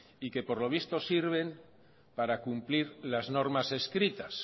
y que por lo visto sirven para cumplir las normas escritas